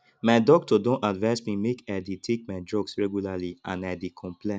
my doctor don advice me make i dey take my drugs regularly and i dey comply